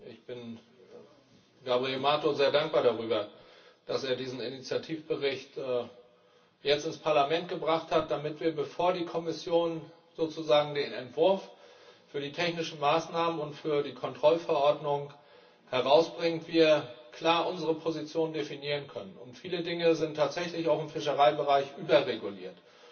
Ich bin Gabriel Mato sehr dankbar dafür, dass er diesen Initiativbericht jetzt ins Parlament gebracht hat, damit wir, bevor die Kommission den Entwurf für die technischen Maßnahmen und für die Kontrollverordnung herausbringt, klar unsere Position definieren können. Viele Dinge sind tatsächlich auch im Fischereibereich überreguliert.